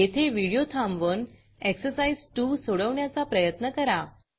येथे व्हिडिओ थांबवून एक्सरसाइज 2 सोडवण्याचा प्रयत्न करा